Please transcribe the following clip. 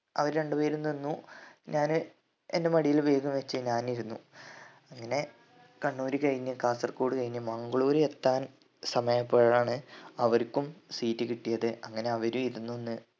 അവർ രണ്ടു പേരും നിന്നു ഞാന് എൻ്റെ മടിയിൽ bag ഉം വെച്ച് ഞാൻ ഇരുന്നു അങ്ങനെ കണ്ണൂര് കഴിഞ്ഞ് കാസർകോട് കഴിഞ്ഞ് മംഗ്ളൂര് എത്താൻ സമയം ആയപ്പോഴാണ് അവർക്കും seat കിട്ടിയത് അങ്ങനെ അവരും ഇരുന്ന് ഒന്ന്